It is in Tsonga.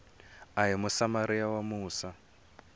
a ri musamariya wa musa